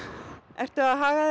ertu að haga